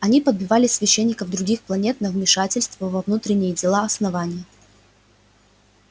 они подбивали священников других планет на вмешательство во внутренние дела основания